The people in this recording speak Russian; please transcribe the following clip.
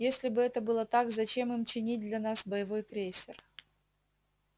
если бы это было так зачем им чинить для нас боевой крейсер